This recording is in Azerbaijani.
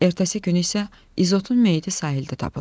Ertəsi günü isə İzotun meyiti sahildə tapıldı.